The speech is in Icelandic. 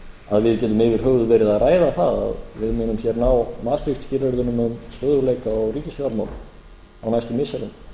að við getum yfir höfuð vera að ræða það að við munum hér ná maastricht skilyrðunum um stöðugleika í ríkisfjármálunum á næstu missirum